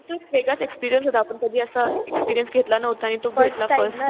तो एक वेगळाच एक्सपीरियन्स होता. आपण कधी असं एक्सपीरियन्स घेतला नव्हता. आणि तो घेतला फर्स्ट टाइम.